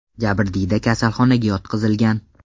Jabrdiyda kasalxonaga yotqizilgan.